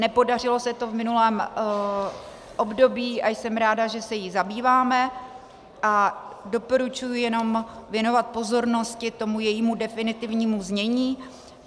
Nepodařilo se to v minulém období a jsem ráda, že se jí zabýváme, a doporučuji jenom věnovat pozornost tomu jejímu definitivnímu znění.